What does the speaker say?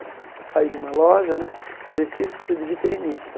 Eu saí de uma loja né, precisa-se de vitrinista.